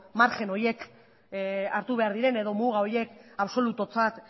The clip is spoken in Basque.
margen horiek hartu behar diren edo muga horiek absolututzat